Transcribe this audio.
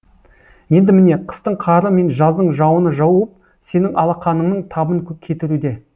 енді міне қыстың қары мен жаздың жауыны жауып сенің алақаныңның табын кетіруде